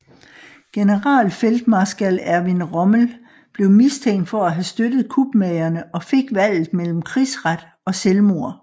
Generalfeltmarskal Erwin Rommel blev mistænkt for at have støttet kupmagerne og fik valget mellem krigsret og selvmord